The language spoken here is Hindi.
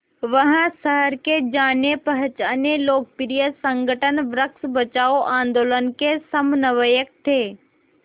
वह शहर के जानेपहचाने लोकप्रिय संगठन वृक्ष बचाओ आंदोलन के समन्वयक थे